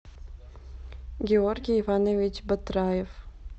георгий иванович батраев